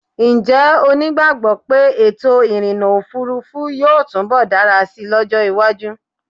Ǹjẹ́́ o nígbàgbọ́ pé ètò ìrìnnà òfurufú yóò túnbọ̀ dára sí lọ́jọ́ iwájú?